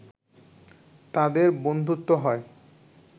তাদের বন্ধুত্ব হয়